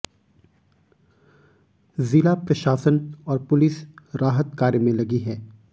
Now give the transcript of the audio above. जिला प्रशासन और पुलिस राहत कार्य में लगी है